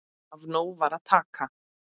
Af nógu var að taka.